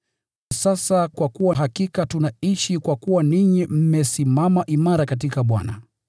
Sasa kwa kuwa hakika tunaishi, kwa kuwa ninyi mmesimama imara katika Bwana.